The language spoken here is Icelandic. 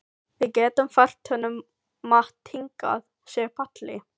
Við getum fært honum mat hingað, segir Palli.